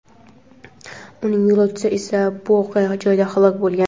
Uning yo‘lovchisi esa voqea joyida halok bo‘lgan.